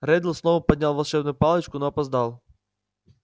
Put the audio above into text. реддл снова поднял волшебную палочку но опоздал